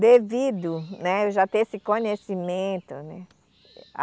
devido, né eu já ter esse conhecimento. né